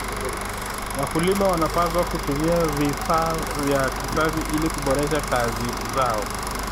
Wakulima wanapaswa kutumia vifaa vya kisasa ili kuboresha kazi zao.